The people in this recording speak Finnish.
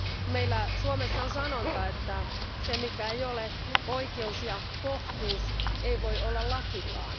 Meillä Suomessa on sanonta, että se, mikä ei ole oikeus ja kohtuus, ei voi olla lakikaan.